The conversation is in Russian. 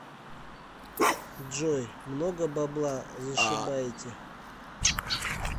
джой много бабла зашибаете